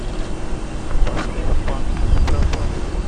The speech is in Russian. поставь пан или пропал